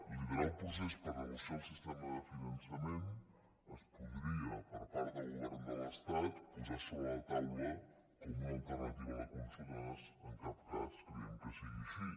liderar el procés per negociar el sistema de finançament es podria per part del govern de l’estat posar sobre la taula com una alternativa a la consulta nosaltres en cap cas creiem que sigui així